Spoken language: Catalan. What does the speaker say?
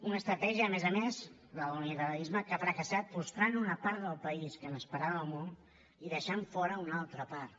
una estratègia a més a més la de l’unilateralisme que ha fracassat frustrant una part del país que n’esperava molt i deixant ne fora una altra part